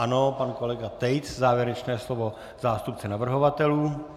Ano, pan kolega Tejc, závěrečné slovo zástupce navrhovatelů.